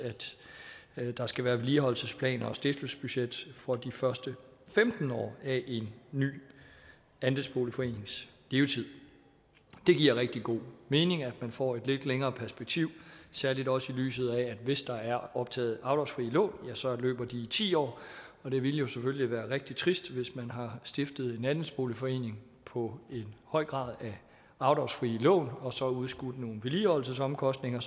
at der skal være vedligeholdelsesplaner og stiftelsesbudget for de første femten år af en ny andelsboligforenings levetid det giver rigtig god mening at man får et lidt længere perspektiv særlig også i lyset af at hvis der er optaget afdragsfrie lån løber de i ti år og det ville jo selvfølgelig være rigtig trist hvis man har stiftet en andelsboligforening på en høj grad af afdragsfrie lån og så udskudt nogle vedligeholdelsesomkostninger